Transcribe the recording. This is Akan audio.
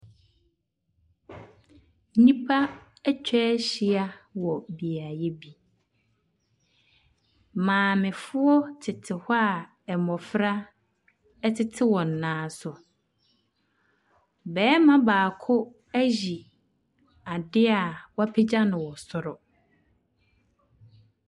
Nnipa atwa ahyia wɔ beaeɛ bi. Maamefoɔ tete hɔ a mmɔfra tete wɔn nan so. Barima baako ayi adeɛ a wɔapagya no wɔ soro.